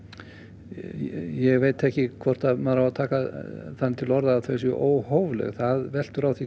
ég veit ekki hvort maður á að taka þannig til orða hvort þau séu óhófleg það veltur á því